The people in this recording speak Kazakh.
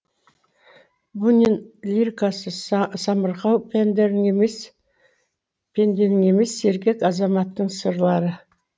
бунин лирикасы самарқау пенденің емес сергек азаматтың сырлары